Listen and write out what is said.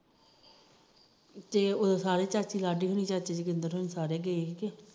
ਤੇ ਉਹ ਸਾਰੇ ਚਾਚੀ ਲਾਡੀ ਚਾਚੇ ਹੁਨੀ ਸਾਰੇ ਗਏ